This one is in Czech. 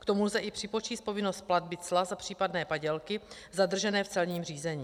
K tomu lze i připočíst povinnost platby cla za případné padělky zadržené v celním řízení.